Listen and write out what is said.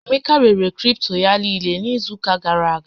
Emeka rere àkụ̀ kripto ya niile n'izu ụká gàrà aga.